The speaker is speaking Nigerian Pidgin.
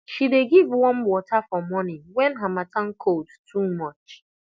she dey give warm water for morning when harmattan cold too much